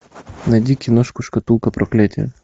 найди киношку шкатулка проклятия